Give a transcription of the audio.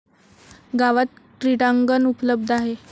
गावात क्रीडांगण उपलब्ध आहे.